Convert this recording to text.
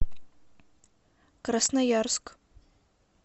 красноярск